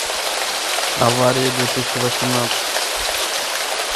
аварии две тысячи восемнадцать